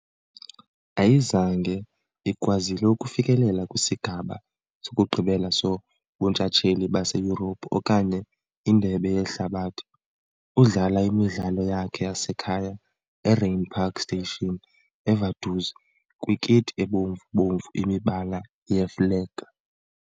Ayizange ikwazile ukufikelela kwisigaba sokugqibela soBuntshatsheli baseYurophu okanye iNdebe yeHlabathi . Udlala imidlalo yakhe yasekhaya eRheinpark Stadion eVaduz, kwikiti ebomvu-bomvu, imibala yeflegi .